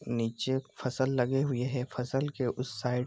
नीचे फसल लगी हुई है फसल के उस साइड --